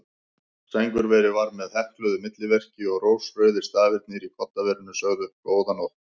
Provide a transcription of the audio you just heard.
Sængurverið var með hekluðu milliverki og rósrauðir stafirnir í koddaverinu sögðu: Góða nótt.